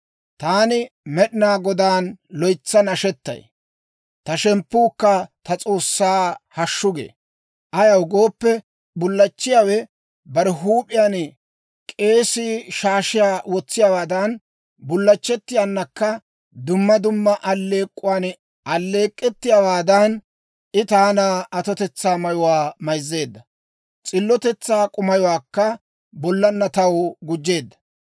Taani Med'inaa Godaan loytsa nashetay; ta shemppuukka ta S'oossan hashshu gee. Ayaw gooppe, bullachchiyaawe bare huup'iyaan K'eesii shaashiyaa wotsiyaawaadan, bullachchettiyaanakka dumma dumma alleek'k'uwan alleek'k'ettiyaawaadan, I taana atotetsaa mayuwaa mayzzeedda; s'illotetsaa k'umayuwaakka bollaanna taw gujjeedda.